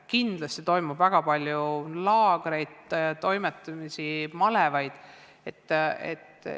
Kindlasti toimub väga palju laagreid, malevaid jms toimetamisi.